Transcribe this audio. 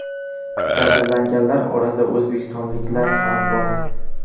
Jabrlanganlar orasida o‘zbekistonliklar ham bor.